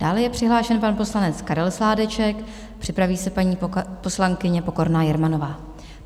Dále je přihlášen pan poslanec Karel Sládeček, připraví se paní poslankyně Pokorná Jermanová.